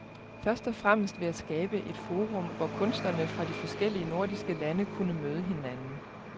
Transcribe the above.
Først og fremmest ville jeg skabe et forum, hvor kunstnerne fra de forskellige nordiske lande kunne møde hinanden.